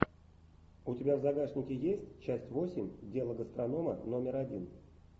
у тебя в загашнике есть часть восемь дело гастронома номер один